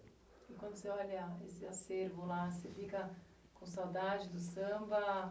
E quando você olha esse acervo lá, você fica com saudade do samba?